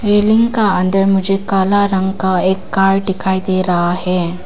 Railing का अंदर मुझे काला रंग का एक कार दिखाई दे रहा है।